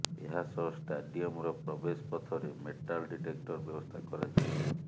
ଏହାସହ ଷ୍ଟାଡିୟମ୍ର ପ୍ରବେଶ ପଥରେ ମେଟାଲ୍ ଡିଟେକ୍ଟର ବ୍ୟବସ୍ଥା କରାଯିବ